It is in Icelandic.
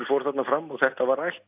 fór þarna fram og þetta var rætt